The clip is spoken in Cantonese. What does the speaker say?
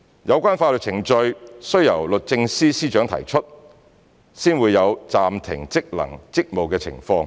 有關法律程序須由律政司司長提出，方會有暫停職能/職務的情況。